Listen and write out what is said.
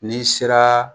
N'i sera